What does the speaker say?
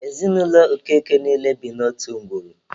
Ezinụlọ Okeke niile bi n'otu ngwuru.